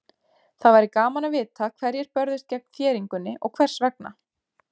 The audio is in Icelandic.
Það væri gaman að vita hverjir börðust gegn þéringunni og hvers vegna.